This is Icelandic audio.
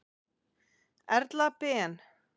Erla Ben.